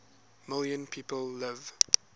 million people live